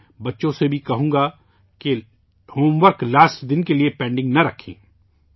میں بچوں سے بھی کہوں گا کہ ہوم ورک آخری دن کے لئے پینڈنگ نہ رکھیں